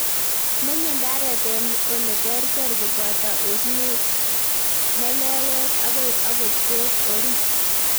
Menye ndaret en ole ter ter koboto osnet, melewet agoi ogot beek orit